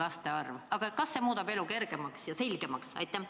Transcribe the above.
Aga veel kord: kas see seadus muudaks kellegi elu kergemaks ja selgemaks?